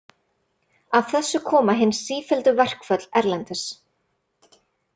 Af þessu koma hin sífelldu verkföll erlendis.